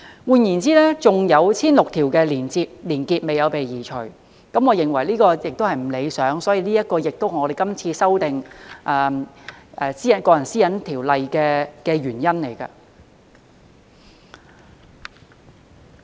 換言之，仍有 1,600 條連結沒有被移除，我認為這情況並不理想，所以這也是我們今次修訂《個人資料條例》的原因。